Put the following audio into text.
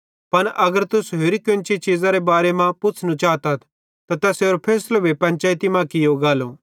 पन अगर तुस होरि कोन्ची चीज़रे बारे मां पुछ़नू चातथ त तैसेरो फैसलो भी पंचैइती मां कियो गालो